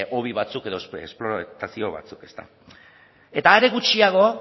hobi batzuk edo eta are gutxiago